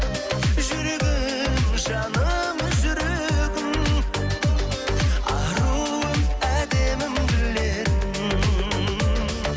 жүрегім жаным жүрегім аруым әдемім гүл едің